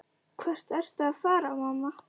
Hvert ertu að fara, mamma?